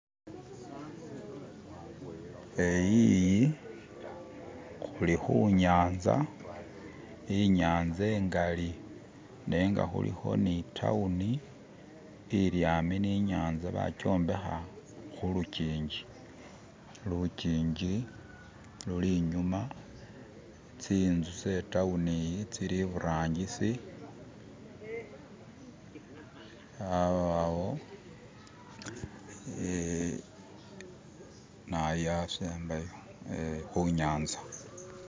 eyiyi hulihunyanza inyanza ingali nenga huliho ni tawuni ili yambi ni nyanza bakyombeha hulukinji lukiji luli inyuma tsintzu tse tawuni yi tsili iburangisi abawo hunyanza